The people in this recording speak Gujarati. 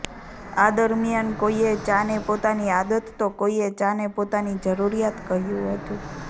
આ દરમિયાન કોઈએ ચા ને પોતાની આદત તો કોઈએ ચા ને પોતાની જરૂરિયાત કહ્યું હતું